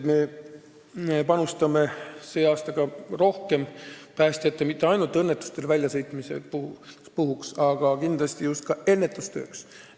Me ei panusta tänavu mitte ainult õnnetuskohtadesse väljasõitmisele, vaid ka ennetustööle.